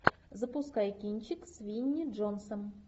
запускай кинчик с винни джонсом